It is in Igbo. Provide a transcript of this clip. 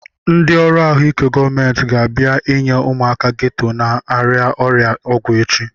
Ndị ọrụ ahụike gọọmenti ga-abịa enye ụmụaka geto na-arịa ọrịa ọgwụ echi